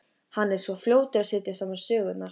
Hann er svo fljótur að setja saman sögurnar.